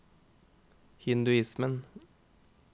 hinduismen